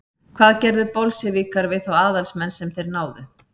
hvað gerðu bolsévikar við þá aðalsmenn sem þeir náðu